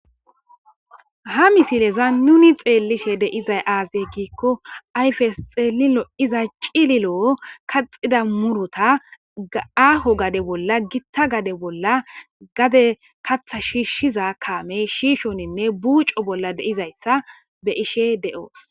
ha misileza nuni xeellishe deizay aazey giikko ayfes xeelilo iza cililo kaxida murota ga7aho gade bolla gitta gade bolla gade katha shiishshiza kaamey shiishoninne buuco bolla deizayssa be ishe de7oos